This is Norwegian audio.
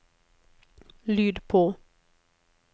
lyd på